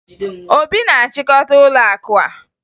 Ọ Obi na-achịkọta ụlọakụ a?